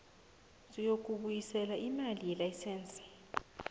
sokubuyisela imali yelayisense